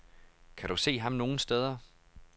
Kan du se ham nogen steder.